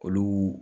Olu